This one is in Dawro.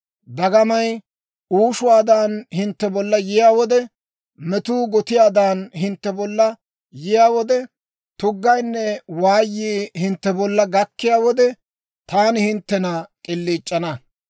Dagamay uushuwaadan hintte bolla yiyaa wode, metuu gotiyaadan hintte bolla yiyaa wode, tuggaynne waayii hintte bolla gakkiyaa wode, taani hinttena k'iliic'ana.